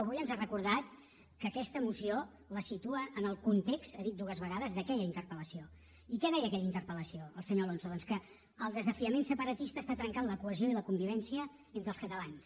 avui ens ha recordat que aquesta moció la situa en el context ha dit dues vegades d’aquella interpeli què deia en aquella interpeldoncs que el desafiament separatista està trencant la cohesió i la convivència entre els catalans